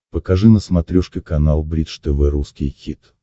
покажи на смотрешке канал бридж тв русский хит